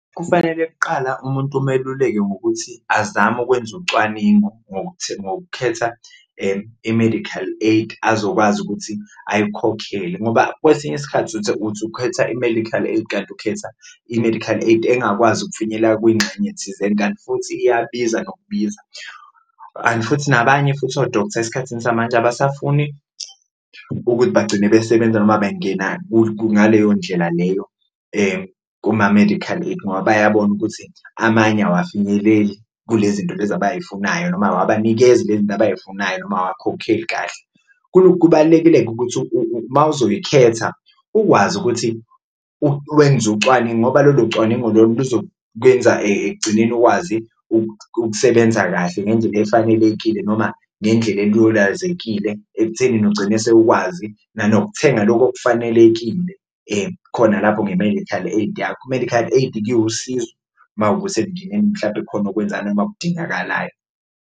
Kufanele kuqala umuntu umeluleke ngokuthi azame ukwenza ucwaningo ngokukhetha i-medical aid azokwazi ukuthi ayikhokhele ngoba kwesinye isikhathi uthi ukhetha i-medical kanti ukhetha i-medical aid engakwazi ukufinyelela kuyingxenye thizeni kanti futhi iyabiza nokubiza. And futhi nabanye futhi o-doctor esikhathini samanje abasafuni ukuthi bagcine besebenza noma bengena ngaleyo ndlela leyo kuma-medical aid, ngoba bayabona ukuthi amanye awafinyeleli kule zinto lezi abayifunayo noma awabanikezi le zinto abayifunayo noma owakhokheli kahle. Kubalulekile-ke ukuthi uma uzoyikhetha ukwazi ukuthi wenze ucwaningo ngoba lolo cwaningo lolo luzokwenza ekugcineni ukwazi [? ukusebenza kahle ngendlela efanelekile noma ngendlela elulazekile ekuthenini ugcine sewukwazi nanokuthenga loko okufanelekile khona lapho nge-medical aid yakho. I-medical aid-ke iwusizo uma kuwukuthi emindenini mhlampe khona okwenzayo uma okudingekalayo.